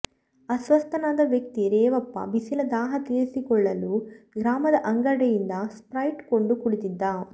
ಅಸ್ವಸ್ಥನಾದ ವ್ಯಕ್ತಿ ರೇವಪ್ಪ ಬಿಸಿಲ ದಾಹ ತೀರಿಸಿಕೊಳ್ಳಲು ಗ್ರಾಮದ ಅಂಗಡಿಯಿಂದ ಸ್ಪ್ರೈಟ್ ಕೊಂಡು ಕುಡಿದಿದ್ದ